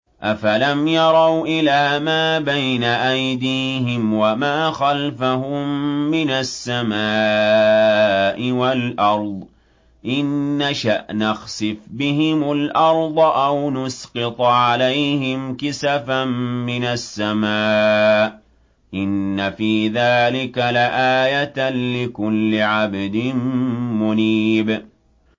أَفَلَمْ يَرَوْا إِلَىٰ مَا بَيْنَ أَيْدِيهِمْ وَمَا خَلْفَهُم مِّنَ السَّمَاءِ وَالْأَرْضِ ۚ إِن نَّشَأْ نَخْسِفْ بِهِمُ الْأَرْضَ أَوْ نُسْقِطْ عَلَيْهِمْ كِسَفًا مِّنَ السَّمَاءِ ۚ إِنَّ فِي ذَٰلِكَ لَآيَةً لِّكُلِّ عَبْدٍ مُّنِيبٍ